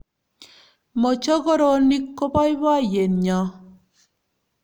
Mokochoronik ko boiboyet nyo